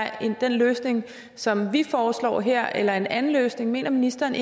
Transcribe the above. den løsning som vi foreslår her eller en anden løsning mener ministeren